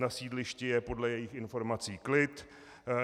Na sídlišti je podle jejích informací klid.